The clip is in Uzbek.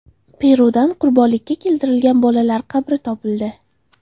Perudan qurbonlikka keltirilgan bolalar qabri topildi.